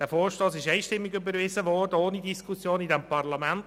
Dieser Vorstoss wurde vom Grossen Rat einstimmig und ohne Diskussion überwiesen.